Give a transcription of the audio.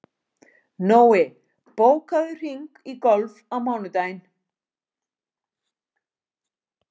Nói, bókaðu hring í golf á mánudaginn.